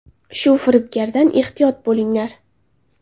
Shu firibgardan ehtiyot bo‘linglar!